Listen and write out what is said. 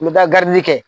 N bɛ taa kɛ